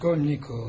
Raskolnikov.